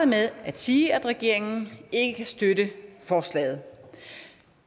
med at sige at regeringen ikke kan støtte forslaget